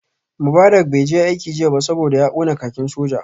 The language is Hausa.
Mubarak bai je aiki jiya ba saboda ya kona kakin sojan sa